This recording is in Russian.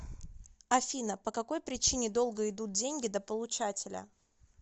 афина по какой причине долго идут деньги до получателя